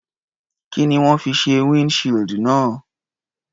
Kí ni wọ́n fi ṣe windshield náà?